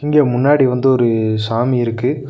இங்க முன்னாடி வந்து ஒரு சாமி இருக்கு.